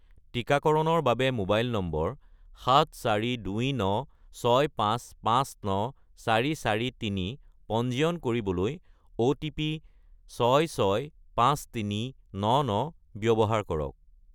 টিকাকৰণৰ বাবে mobile number 74296559443 পঞ্জীয়ন কৰিবলৈ অ'টিপি 665399 ব্যৱহাৰ কৰক